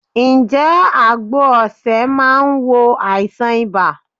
Ǹ jé àgbo osè máa n wo àìsàn ibà